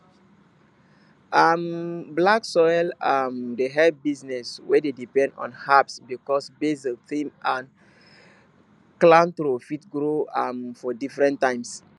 um black soil um dey help business wey dey depend on herbs because basil thyme and cilantro fit grow um for different times